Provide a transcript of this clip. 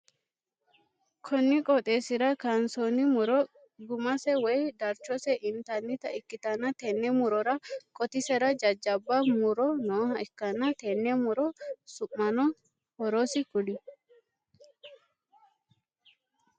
Konni qooxeesira kaansoonni muro gumase woyi darchose intannita ikitanna tenne murora qotisera jajabba muro nooha ikanna tenne muro su'manna horose kuli?